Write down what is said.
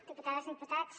diputades i diputats